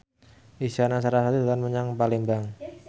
Isyana Sarasvati dolan menyang Palembang